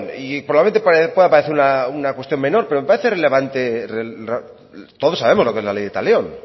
y probablemente pueda parecer una cuestión menor pero me parece relevante todos sabemos lo que es la ley del talión